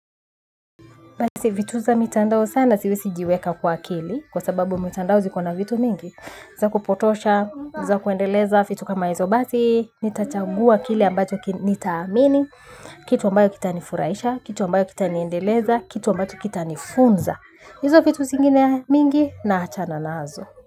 Basi vitu za mitandao sana siwesijiweka kwa akili kwa sababu mitandao ziko na vitu mingi. Za kupotosha, za kuendeleza fitu kama hizo basi, nitachagua kile ambacho nitaamini. Kitu ambayo kita nifuraisha, kitu ambayo kita niendeleza, kitu ambacho kita nifunza. Hizo vitu zingine mingi naachana nazo.